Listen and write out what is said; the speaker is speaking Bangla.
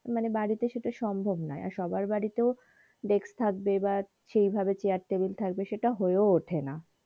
মানে বাড়িতে সেইটা সম্ভব নয় আর সবার বাড়িতেও desk থাকবে বা সেইভাবে চেয়ার টেবিল থাকবে সেইটা হয়েও ওঠেনা।